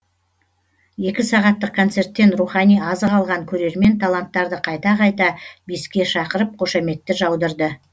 екі сағаттық концерттен рухани азық алған көрермен таланттарды қайта қайта биске шақырып қошаметті жаудырды